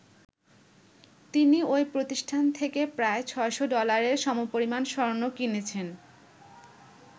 তিনি ওই প্রতিষ্ঠান থেকে প্রায় ৬০০ ডলারের সমপরিমান স্বর্ণ কিনেছেন।